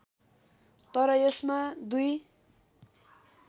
तर यसमा दुई